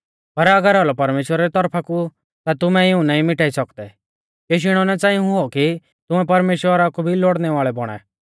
पर अगर औलौ परमेश्‍वरा री तौरफा कु ता तुमै इऊं नाईं मिटाई सौकदै केशी इणौ नां च़ांई हुऔ कि तुमै परमेश्‍वरा कु भी लौड़णै वाल़ै बौणा